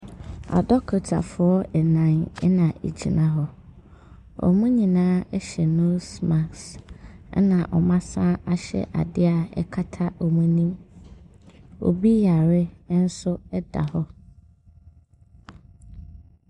Adɔkotafoɔ nnan na wɔgyina hɔ. Wɔn nyinaa hyɛ nose mask, ɛna wɔsane ahyɛ adeɛ a ɛkata wɔn anim. Obi yare nso da hɔ.